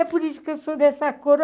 É por isso que eu sou dessa cor.